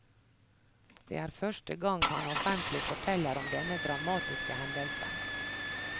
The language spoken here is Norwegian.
Det er første gang han offentlig forteller om denne dramatiske hendelsen.